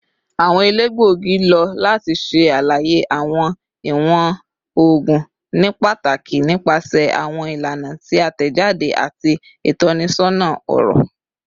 Awọn elegbogi lo lati ṣe alaye awọn iwọn oogun nipataki nipasẹ awọn ilana ti a tẹjade ati itọnisọna ọrọ